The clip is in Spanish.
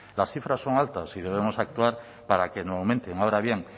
las cifras son altas y debemos actuar para que no aumenten ahora bien